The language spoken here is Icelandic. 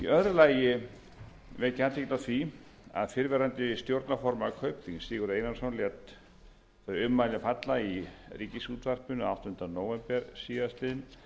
lagi vek ég athygli á því að fyrrverandi stjórnarformaður kaupþings sigurður einarsson lét þau ummæli falla í ríkisútvarpinu áttunda nóvember síðastliðinn